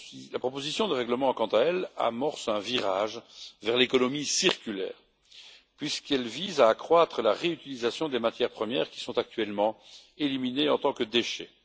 La proposition de règlement, quant à elle, amorce un virage vers l'économie circulaire, puisqu'elle vise à accroître la réutilisation des matières premières qui sont actuellement éliminées en tant que déchets.